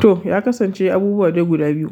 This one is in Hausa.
To, ya kasance abubuwa dai guda biyu.